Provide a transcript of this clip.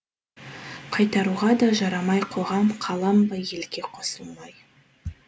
қайтаруға да жарамай қоғам қалам ба елге қосылмай